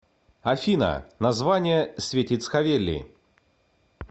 афина название светицховели